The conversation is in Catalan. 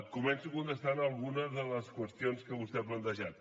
començo contestant algunes de les qüestions que vostè ha plantejat